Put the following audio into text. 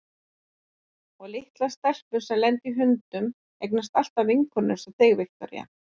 Og litlar stelpur sem lenda í hundum eignast alltaf vinkonur einsog þig, Viktoría.